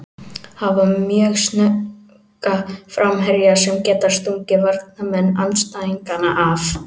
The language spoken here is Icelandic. Hafa mjög snögga framherja sem geta stungið varnarmenn andstæðinganna af.